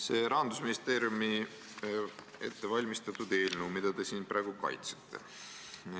See on Rahandusministeeriumi ettevalmistatud eelnõu, mida te siin praegu kaitsete.